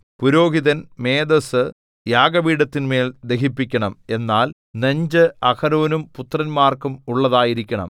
പുരോഹിതൻ മേദസ്സു യാഗപീഠത്തിന്മേൽ ദഹിപ്പിക്കണം എന്നാൽ നെഞ്ച് അഹരോനും പുത്രന്മാർക്കും ഉള്ളതായിരിക്കണം